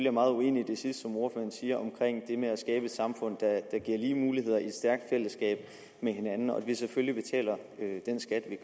er meget uenig i det sidste som ordføreren siger om at skabe et samfund der giver lige muligheder i et stærkt fællesskab med hinanden og at vi selvfølgelig betaler den skat vi